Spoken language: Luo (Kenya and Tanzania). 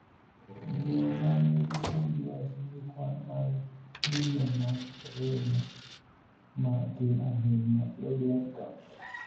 Joma nigi MDS nigi kwan mag ng'injo mag remo ma tin ahinya (low blood count).